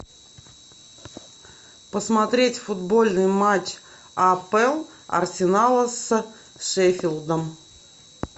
посмотреть футбольный матч апл арсенала с шеффилдом